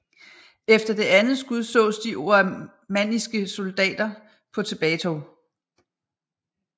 Efter det andet skud sås de oamanniske soldater på tilbagetog